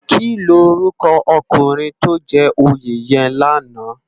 Kilórúkò ókúnrin tó jè óyé yèn làná?